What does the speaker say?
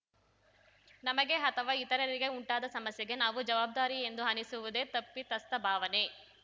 ನಮಗೆ ಅಥವಾ ಇತರರಿಗೆ ಉಂಟಾದ ಸಮಸ್ಯೆಗೆ ನಾವು ಜವಾಬ್ದಾರಿ ಎಂದು ಅನಿಸುವುದೇ ತಪ್ಪಿತಸ್ಥ ಭಾವನೆ